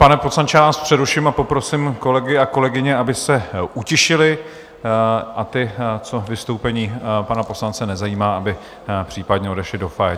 Pane poslanče, já vás přeruším a poprosím kolegy a kolegyně, aby se utišili, a ty, co vystoupení pana poslance nezajímá, aby případně odešli do foyer.